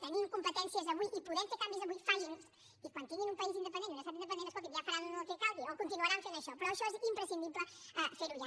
tenint competències avui i podent fer canvis avui facin los i quan tinguin un país independent i un estat independent escolti’m ja faran el que calgui o continuaran fent això però això és imprescindible fer ho ja